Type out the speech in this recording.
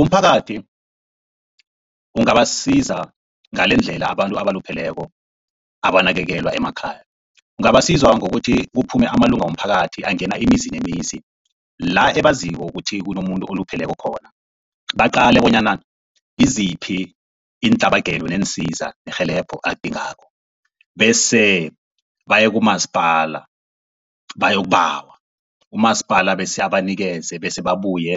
Umphakathi ungabasiza ngalendlela abantu abalupheleko abanakekelwa emakhaya. Ungabasiza ngokuthi kuphume amalunga womphakathi angena imizi nemizi, la ebaziko ukuthi kunomuntu olupheleko khona baqale bonyana ngiziphi iintlabagelo neensiza nerhelebho alidingako. Bese baye kumasipala bayokubawa, umasipala bese abanikeze bese babuye